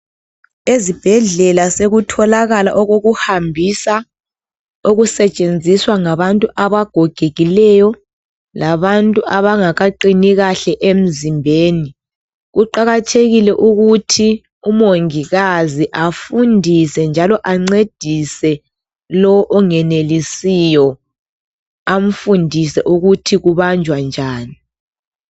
Ezibhedlela sekutholakala okokuhambisa okusetshenziswa ngabantu abagogekileyo labantu abangakaqini kahle emzimbeni. Kuqakathekile ukuthi umongikazi afundise njalo ancedise lo ongenelisiyo amfundise ukuthi kubanjwa njani.